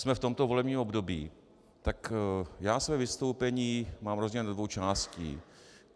Jsme v tomto volebním období, tak já své vystoupení mám rozdělené do dvou částí.